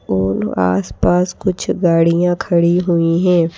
और आस पास कुछ गाड़ियां खड़ी हुई हैं।